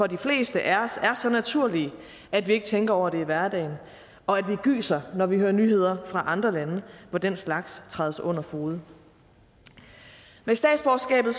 de fleste af os er så naturlige at vi ikke tænker over det i hverdagen og at vi gyser når vi hører nyheder fra andre lande hvor den slags trædes under fode med statsborgerskabet